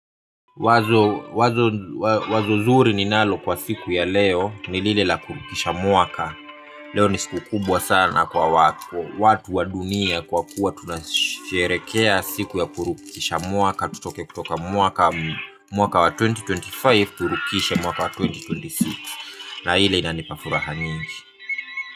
Wazo wazo wazo zuri ninalo kwa siku ya leo nilile la kurukisha mwaka. Leo ni siku kubwa sana kwa watu wa dunia kwa kuwa tunasherehekea siku ya kurukisha mwaka, tutoke kutoka mwaka wa elfu mbili ishirini na tano tuvuke mwaka wa elfu mbili ishirini na sita, na hilo linanipa furaha nyingi.